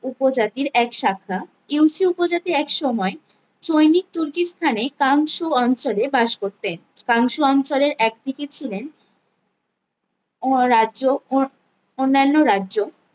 উপজাতির এক শাখা ইউ সি উপজাতি এক সময়ে সৈনিক তুর্কিস্তানে কামসু অঞ্চলে বাস করতেন কামসু অঞ্চলের একদিকে ছিলেন অরাজ্য ও অন্যান্য রাজ্য